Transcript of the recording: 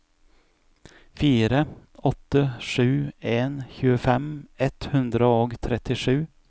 fire åtte sju en tjuefem ett hundre og trettisju